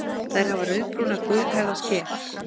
Þær hafa rauðbrúna gulhærða skel.